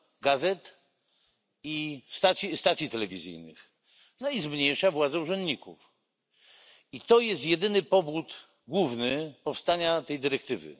gazet i stacji telewizyjnych, no i zmniejsza władzę urzędników. To jest jedyny główny powód powstania tej dyrektywy.